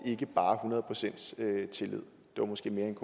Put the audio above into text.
ikke bare hundrede procent tillid det var måske mere en